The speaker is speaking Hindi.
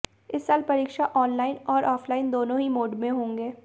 इस साल परीक्षा ऑनलाइन और ऑफलाइन दोनों ही मोड में होंगे